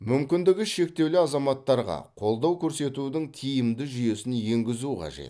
мүмкіндігі шектеулі азаматтарға қолдау көрсетудің тиімді жүйесін енгізу қажет